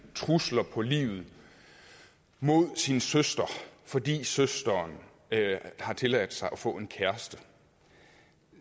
trusler på livet mod sin søster fordi søsteren har tilladt sig at få en kæreste